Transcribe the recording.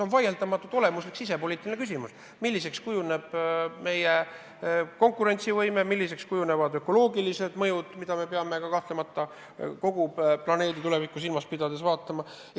On vaieldamatult olemuslik sisepoliitiline küsimus, milliseks kujuneb meie konkurentsivõime, milliseks kujunevad ökoloogilised mõjud, mida me peame kahtlemata kogu planeedi tulevikku silmas pidades analüüsima.